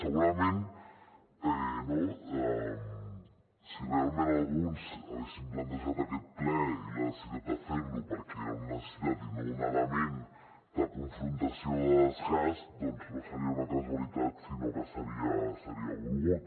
segurament no si realment alguns haguessin plantejat aquest ple i la necessitat de fer lo perquè era una necessitat i no un element de confrontació o de desgast doncs no seria una casualitat sinó que seria volgut